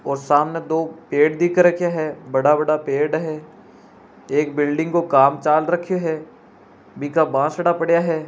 वो सामने दो पेड दिख रही है बड़ा बड़ा पेड़ दिख रा है एक बिल्डिग काम चल राखो है बासडा पड़ा है।